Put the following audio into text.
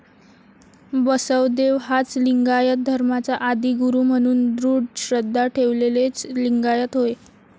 बसवदेव हाच लिंगायत धर्माचा आदिगुरू म्हणून दृढ श्रद्धा ठेवलेलेच लिंगायत होय.